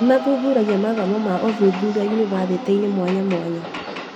Nĩmathuthuragia mathomo ma uthuthuria yunibathĩtĩ-inĩ mwanyamwanya